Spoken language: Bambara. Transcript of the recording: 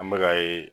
An bɛka ye